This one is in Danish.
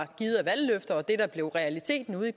givet af valgløfter og det der blev realiteten ude